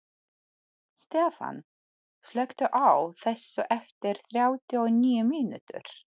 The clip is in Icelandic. Stefan, slökktu á þessu eftir þrjátíu og níu mínútur.